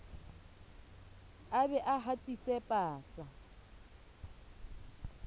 a be a hatise pasa